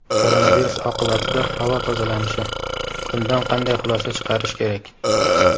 Koronavirus oqibatida havo tozalanishi: bundan qanday xulosa chiqarish kerak?.